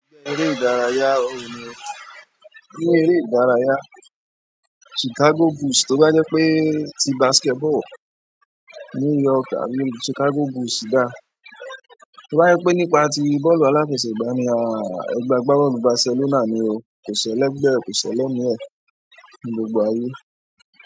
Ní eré ìdárayá, oòrùn ni. Ní eré ìdárayá Chicago Bulls, tó bá jẹ́ pé ti basketball New York àbí Chicago Bulls dà. Tó bá jẹ́ pé nípa ti bọ́ọ̀lù aláfẹsẹ̀gbá ni a ń sọ, ẹgbẹ́ gba bọ́ọ̀lù Barcelona ni o. Kò sẹ́lẹ̀ gbẹ́, kò sẹ́lẹ̀ mi ẹ ní gbogbo ayé.